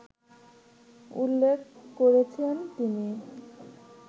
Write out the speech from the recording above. উল্লেখ করেছেন তিনি